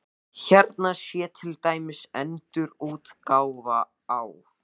Hérna sé til dæmis endurútgáfa á